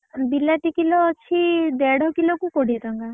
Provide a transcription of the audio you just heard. ବିଲାତି କିଲ ଅଛି ଦେଢ କିଲକୁ କୋଡିଏ ଟଙ୍କା।